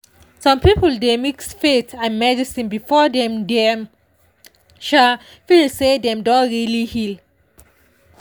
some people dey mix faith and medicine before dem dem um feel say dem don really heal.